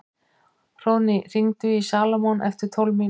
Hróðný, hringdu í Salómon eftir tólf mínútur.